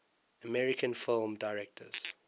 american film directors